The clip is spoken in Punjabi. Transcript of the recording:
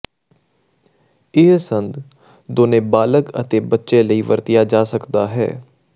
ਇਹ ਸੰਦ ਦੋਨੋ ਬਾਲਗ ਅਤੇ ਬੱਚੇ ਦੇ ਲਈ ਵਰਤਿਆ ਜਾ ਸਕਦਾ ਹੈ